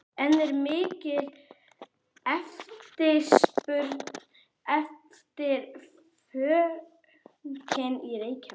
En er mikil eftirspurn eftir fönki í Reykjavík?